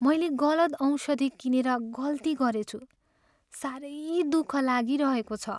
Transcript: मैले गलत औषधि किनेर गल्ती गरेछु। साह्रै दुःख लागिरहेको छ।